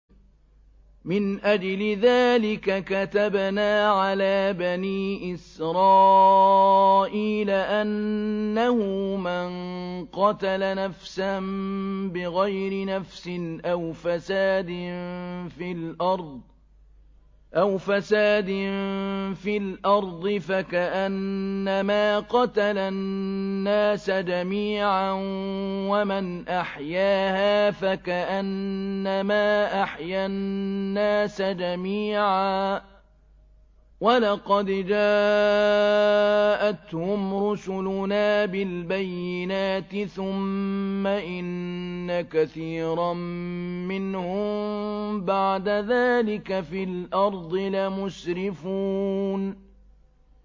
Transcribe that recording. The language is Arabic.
مِنْ أَجْلِ ذَٰلِكَ كَتَبْنَا عَلَىٰ بَنِي إِسْرَائِيلَ أَنَّهُ مَن قَتَلَ نَفْسًا بِغَيْرِ نَفْسٍ أَوْ فَسَادٍ فِي الْأَرْضِ فَكَأَنَّمَا قَتَلَ النَّاسَ جَمِيعًا وَمَنْ أَحْيَاهَا فَكَأَنَّمَا أَحْيَا النَّاسَ جَمِيعًا ۚ وَلَقَدْ جَاءَتْهُمْ رُسُلُنَا بِالْبَيِّنَاتِ ثُمَّ إِنَّ كَثِيرًا مِّنْهُم بَعْدَ ذَٰلِكَ فِي الْأَرْضِ لَمُسْرِفُونَ